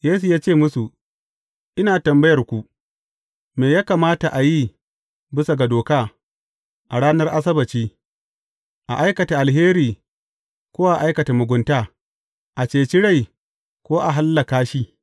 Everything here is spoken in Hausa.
Yesu ya ce musu, Ina tambayarku, me ya kamata a yi bisa ga doka, a ranar Asabbaci, a aikata alheri ko a aikata mugunta, a ceci rai, ko a hallaka shi?